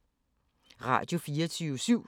Radio24syv